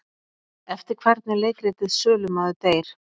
Eftir hvern er leikritið Sölumaður deyr?